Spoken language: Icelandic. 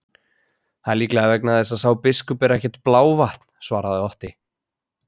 Það er líklega vegna þess að sá biskup er ekkert blávatn, svaraði Otti.